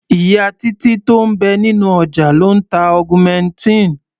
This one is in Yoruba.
Ìyá Títí tó ń bẹ nínú ọjà ló ń ta augmentin.